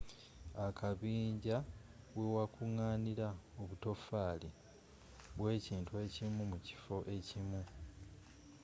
akabinja wewakunganirwa obutofaali bwekintu ekimu mu kifo ekimu